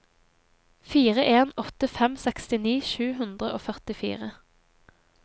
fire en åtte fem sekstini sju hundre og førtifire